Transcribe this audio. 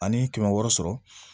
Ani kɛmɛ wɔɔrɔ sɔrɔ